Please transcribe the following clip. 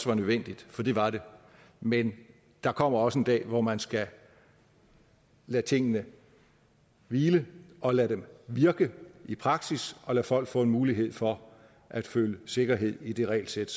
var nødvendigt for det var det men der kommer også en dag hvor man skal lade tingene hvile og lade dem virke i praksis og lade folk få en mulighed for at føle sikkerhed i det regelsæt